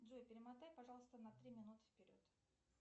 джой перемотай пожалуйста на три минуты вперед